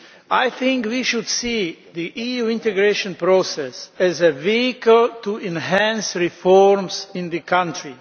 I think we should see the EU integration process as a vehicle to enhance reforms in the country.